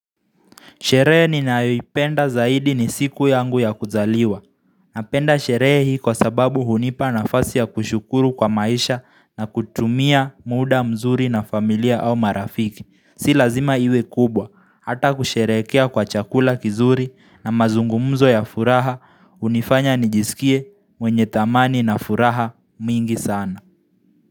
Sherehe ninayoipenda zaidi ni siku yangu ya kuzaliwa. Napenda sherehe hii kwa sababu hunipa nafasi ya kushukuru kwa maisha na kutumia mda mzuri na familia au marafiki. Si lazima iwe kubwa. Hata kusherehekea kwa chakula kizuri na mazungumzo ya furaha hunifanya nijisikie wenye thamani na furaha mingi sana.